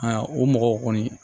o mɔgɔw kɔni